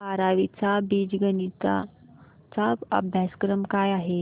बारावी चा बीजगणिता चा अभ्यासक्रम काय आहे